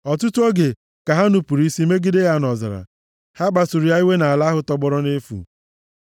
Ọtụtụ oge ka ha nupuru isi megide ya nʼọzara; ha kpasuru ya iwe nʼala ahụ tọgbọrọ nʼefu.